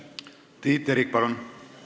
Tiit Terik, palun!